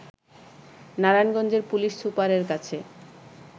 নারায়ণগঞ্জের পুলিশ সুপারের কাছে